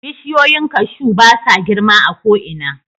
Bishiyoyin cashew ba sa girma a ko'ina.